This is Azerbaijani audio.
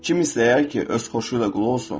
Kim istəyər ki, öz xoşu ilə qul olsun?